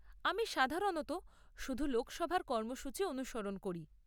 আমি সাধারণত শুধু লোকসভার কর্মসূচী অনুসরণ করি।